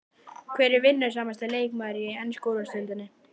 Hver er vinnusamasti leikmaðurinn í ensku úrvalsdeildinni?